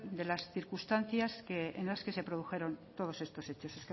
de las circunstancias en las que se produjeron todos estos hechos